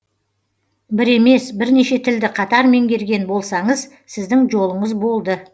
бір емес бірнеше тілді қатар меңгерген болсаңыз сіздің жолыңыз болды